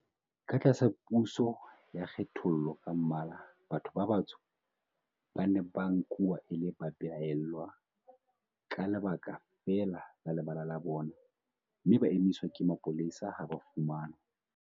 Ka tlasa puso ya kgethollo ka mmala, batho ba batsho ba ne ba nkuwa e le babelaellwa ka lebaka feela la lebala la bona, mme ba emiswa ke mapolesa ha ba fumanwa.